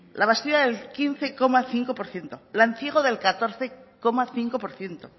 labastida del quince coma cinco por ciento lanciego del catorce coma cinco por ciento